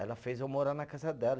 Ela fez eu morar na casa dela.